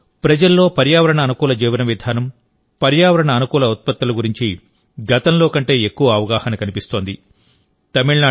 ఈ రోజు ప్రజల్లో పర్యావరణ అనుకూల జీవన విధానం పర్యావరణ అనుకూల ఉత్పత్తుల గురించి గతంలో కంటే ఎక్కువ అవగాహన కనిపిస్తోంది